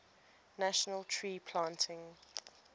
national tree planting